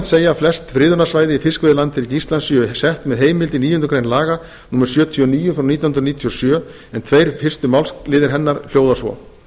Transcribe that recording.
segja að flest friðunarsvæði í fiskveiðilandhelgi íslands séu sett með heimild í níundu grein laga númer sjötíu og níu nítján hundruð níutíu og sjö en tveir fyrstu málsliðir fyrstu málsgrein hennar hljóða svo